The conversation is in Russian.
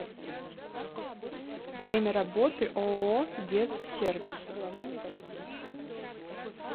время работы ооо дезсервис